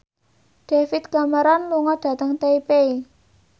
David Cameron lunga dhateng Taipei